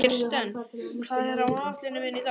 Kirsten, hvað er á áætluninni minni í dag?